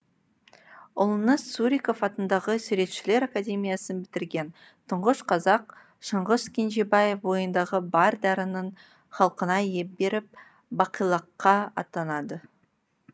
ұлыңыз суриков атындағы суретшілер академиясын бітірген тұңғыш қазақ шыңғыс кенжебаев бойындағы бар дарынын халқына иіп беріп бақилыққа аттанады